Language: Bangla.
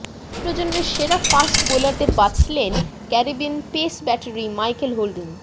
দুই প্রজন্মের সেরা ফাস্ট বোলারদের বাছলেন Caribbean pace battery Michael holding